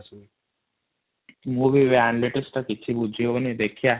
ମୁ ବି ଆଣିଲି ସେଇଟା କିଛି ବୁଝି ହାଉଣୀ |